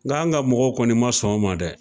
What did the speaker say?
Nga an ka mɔgɔw kɔni ma sɔn a ma dɛ.